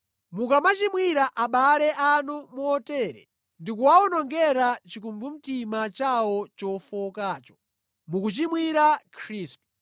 Mukamachimwira abale anu motere ndikuwawonongera chikumbumtima chawo chofowokacho, mukuchimwira Khristu.